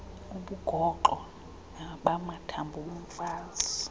ubugoxo bamathambo omfazi